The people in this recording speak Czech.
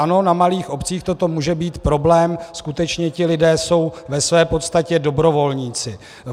Ano, na malých obcích toto může být problém, skutečně ti lidé jsou ve své podstatě dobrovolníci.